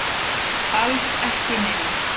Alls ekki neinar.